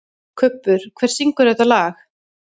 Kubbur, hver syngur þetta lag?